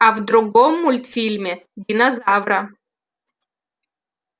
а в другом мультфильме динозавра